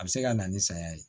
A bɛ se ka na ni saya ye